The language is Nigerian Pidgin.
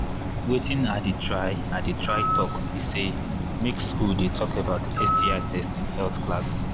watin i they try i they try talk be say make school they talk about sti testing health class